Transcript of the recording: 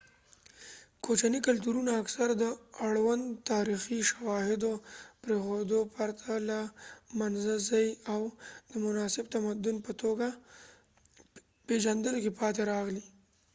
کوچني کلتورونه اکثراً د اړوند تاریخي شواهدو پریښودو پرته له منځه ځي او د مناسب تمدن په توګه پیژندلو کې پاتې راغلي